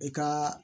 I ka